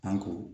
An ko